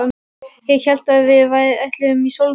Ég hélt að við ætluðum í sólbað!